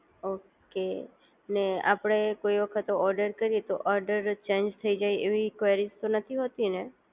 okay અને આપણે કોઈ વખત ઓર્ડર કરીએ તો ઓર્ડર ચેન્જ થઈ જાય એવી ક્વેરીજ તો નથી હોતી ને